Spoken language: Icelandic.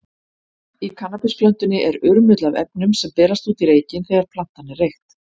Í kannabisplöntunni er urmull af efnum, sem berast út í reykinn þegar plantan er reykt.